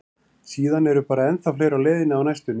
Síðan eru bara ennþá fleiri á leiðinni á næstunni.